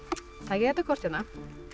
takið þetta kort hérna